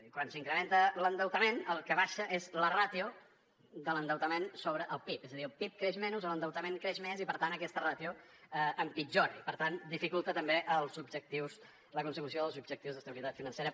quan s’incrementa l’endeutament el que baixa és la ràtio de l’endeutament sobre el pib és a dir el pib creix menys l’endeutament creix més i per tant aquesta ràtio empitjora i per tant dificulta també la consecució dels objectius d’estabilitat financera